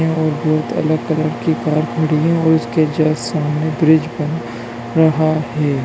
और बहुत अलग कलर की कार खड़ी है और उसके जस्ट सामने ब्रिज बन रहा है।